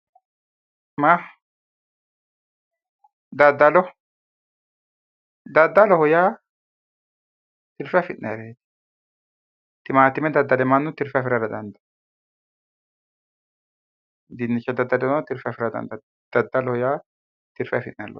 Daddallo daddalloho yaa tirfe afi'nayiho maxine daddale mannu tirfe afirara dandaanno dinnicha daddaleno tirfe afirara dandaanno daddaloho yaa tirfe afi'nayi loosooti